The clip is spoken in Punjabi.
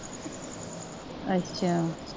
ਅੱਛਾ।